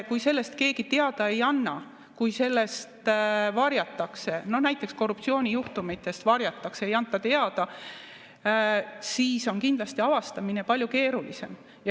Kui sellest keegi teada ei anna, kui näiteks korruptsioonijuhtumeid varjatakse, neist ei anta teada, siis on kindlasti avastamine palju keerulisem.